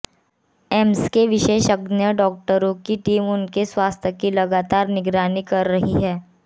AIIMS के विशेषज्ञ डॉक्टरों की टीम उनके स्वास्थ्य की लगातार निगरानी कर रही है